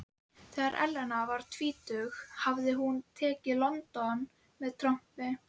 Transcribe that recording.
Þegar Elena var tvítug hafði hún tekið London með trompi.